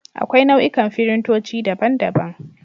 Akwai nau'ikan firintoci, daban daban.